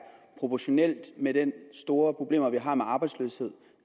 proportionalt med de store problemer vi har med arbejdsløshed